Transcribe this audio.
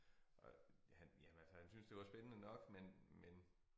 Og han jamen altså han syntes det var spændende nok men men